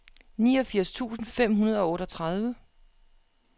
niogfirs tusind fem hundrede og otteogtredive